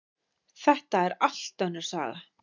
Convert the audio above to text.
Þetta er allt önnur saga!